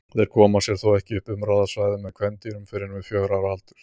Þeir koma sér þó ekki upp umráðasvæði með kvendýrum fyrr en við fjögurra ára aldur.